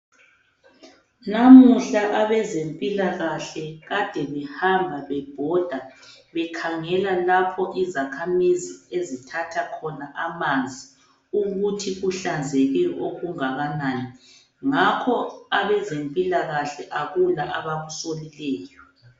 Namuhla abezempilakahle kade behamba bebhoda bekhangela lapho izakhamizi ezithatha khona amanzi ukuthi kuhlanzekile okungakanani, ngakho abezempilakahle akula abakusolileyo.